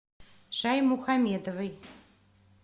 шаймухаметовой